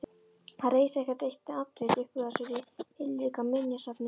Það reis ekkert eitt atvik upp úr þessu ylríka minjasafni.